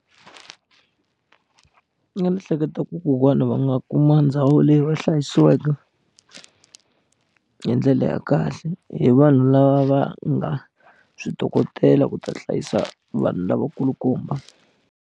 A ni hleketa ku kokwana va nga kuma ndhawu leyi va hlayisiweke hi ndlela ya kahle hi vanhu lava va nga swi dokodela ku ta hlayisa vanhu lavakulukumba.